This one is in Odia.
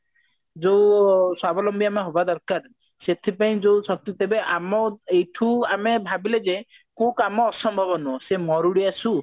ଯୋଉ ସ୍ବାବଲମ୍ବୀ ଆମେ ହବା ଦରକାର ସେଥିପାଇଁ ଆମ ଏଇଠୁ ଆମେ ଭାବିଲେ ଯେ କୋଉ କାମ ଅସମ୍ଭବ ନୁହଁ ମରୁଡି ଆସୁ